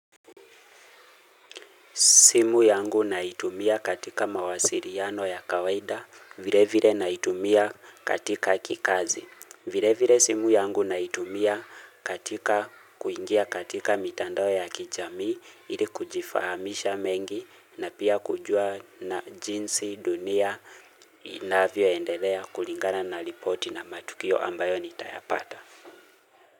Simu yangu naitumia katika mawasiliano ya kawaida, vile vile naitumia katika kikazi. Vile vile simu yangu naitumia katika kuingia katika mitandao ya kijamii, ili kujifahamisha mengi, na pia kujua na jinsi, dunia, inavyo endelea, kulingana na ripoti na matukio ambayo nitayapata.